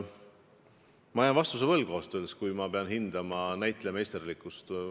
Ma jään vastuse võlgu, kui pean hindama kellegi näitlejameisterlikkust.